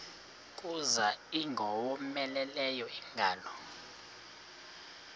kuza ingowomeleleyo ingalo